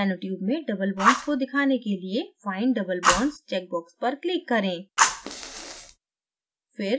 nanotube में double bonds को दिखाने के लिए find double bonds checkbox पर click करें